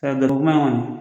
kuama in kɔni.